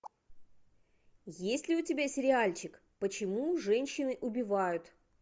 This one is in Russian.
есть ли у тебя сериальчик почему женщины убивают